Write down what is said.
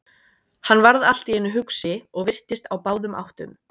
Hann varð allt í einu hugsi og virtist á báðum áttum.